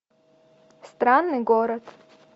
странный город